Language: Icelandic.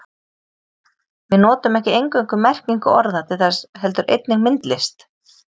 Við notum ekki eingöngu merkingu orða til þess heldur einnig myndlist.